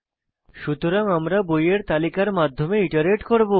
সুতরাং আমরা বইয়ের তালিকার মাধ্যমে ইটারেট করব